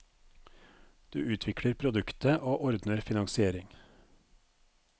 Du utvikler produktet, og ordner finansiering.